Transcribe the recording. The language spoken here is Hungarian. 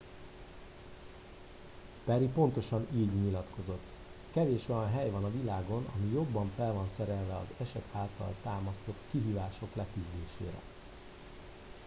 perry pontosan így nyilatkozott kevés olyan hely van a világon ami jobban fel van szerelve az eset által támasztott kihívások leküzdésére